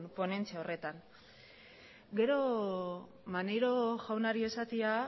ponentzia horretan gero maneiro jaunari esatea